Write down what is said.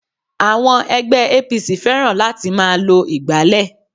Àwọn ègbé APC fẹ́ràn láti máa lo ìgbálè